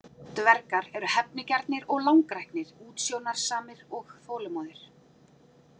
Dvergar eru hefnigjarnir og langræknir, útsjónarsamir og þolinmóðir.